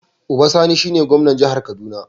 Uba Sani shine gwamnan jihar kaduna.